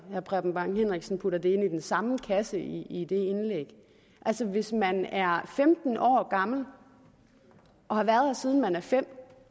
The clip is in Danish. preben bang henriksen putter det ind i den samme kasse i i det indlæg altså hvis man er femten år gammel og har været her siden man var fem år